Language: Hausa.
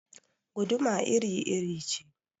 Guduma iri-iri ce